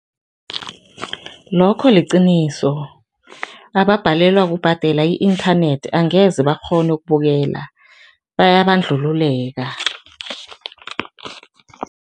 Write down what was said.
Lokho liqiniso, ababhalelwa kubhadela i-inthanethi angeze bakghone ukubukela, bayabandlululeka.